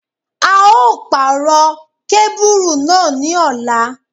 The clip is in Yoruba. A yóò pàrọ̀ kábùrù náà ní ọ̀la.